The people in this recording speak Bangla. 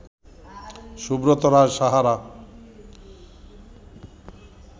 সুব্রত রায় সাহারা